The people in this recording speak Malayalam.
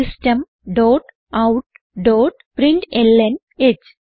system dot out dot println ഹ്